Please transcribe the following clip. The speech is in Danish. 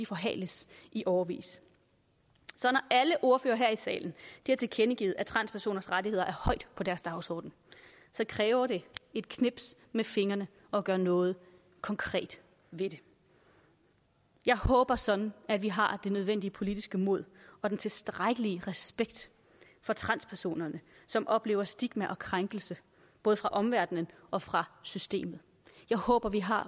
forhales i årevis så når alle ordførere her i salen har tilkendegivet at transpersoners rettigheder er højt på deres dagsorden så kræver det et knips med fingrene at gøre noget konkret ved det jeg håber sådan at vi har det nødvendige politiske mod og den tilstrækkelige respekt for transpersonerne som oplever stigma og krænkelse både fra omverdenen og fra systemet jeg håber vi har